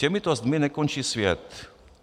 Těmito zdmi nekončí svět.